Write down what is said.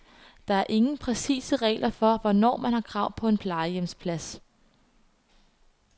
Der er ingen præcise regler for, hvornår man har krav på en plejehjemsplads.